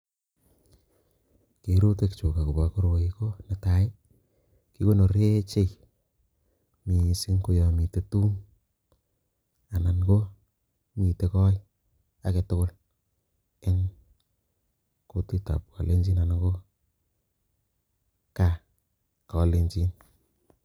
Kerutikchu akobo koroi ko netai, kikonore chei mising ko yo mitei tum anan mitei koe age tugul eng kutitab kalenjin anan ko gaa kalenjin.